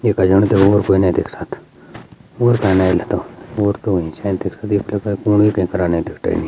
ये कजाणी ते और कोई न देख सख्त ओर --